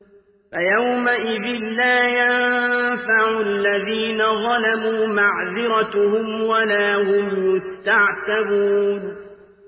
فَيَوْمَئِذٍ لَّا يَنفَعُ الَّذِينَ ظَلَمُوا مَعْذِرَتُهُمْ وَلَا هُمْ يُسْتَعْتَبُونَ